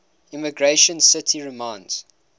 emigration city reminds